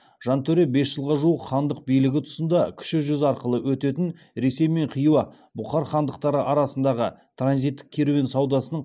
жантөре бес жылға жуық хандық билігі тұсында кіші жүз арқылы өтетін ресей мен хиуа бұхар хандықтары арасындағы транзиттік керуен саудасының